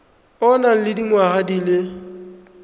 o nang le dingwaga di